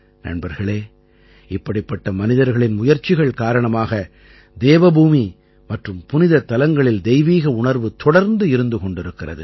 நண்பர்களே இப்படிப்பட்ட மனிதர்களின் முயற்சிகள் காரணமாகவே தேவபூமி மற்றும் புனிதத்தலங்களில் தெய்வீக உணர்வு தொடர்ந்து இருந்து கொண்டிருக்கிறது